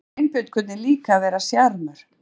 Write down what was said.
En Sveinbjörn kunni líka að vera sjarmör.